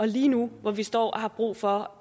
lige nu hvor vi står og har brug for